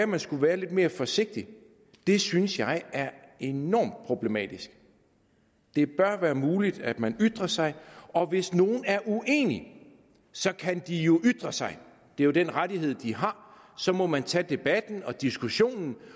man skulle være lidt mere forsigtig og det synes jeg er enormt problematisk det bør være muligt at man ytrer sig og hvis nogle er uenige så kan de jo ytre sig det er jo den rettighed de har så må man tage debatten og diskussionen